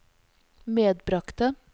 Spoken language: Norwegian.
medbragte